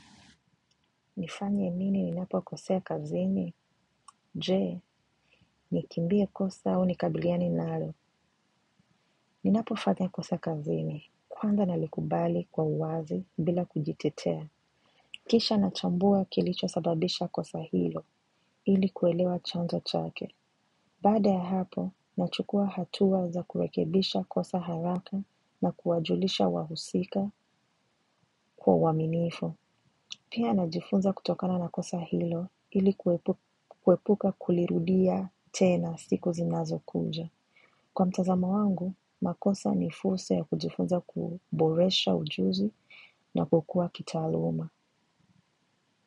Nifanye mini ninapokosea kazini? Je, nikimbie kosa au nikabiliane nalo. Ninapofanya kosa kazini. Kwanza nalikubali kwa wazi bila kujitetea. Kisha nachambua kilicho sababisha kosa hilo. Ili kuelewa chanzo chake. Bada ya hapo, nachukua hatuwa za kurekebisha kosa haraka na kuwajulisha wahusika kuwa waminifu. Pia najifunza kutokana na kosa hilo hili kuepuka kulirudia tena siku zinazokuja. Kwa mtazamo wangu, makosa nifursa ya kujifunza kuboresha ujuzi na kukua kita luma.